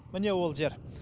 міне ол жер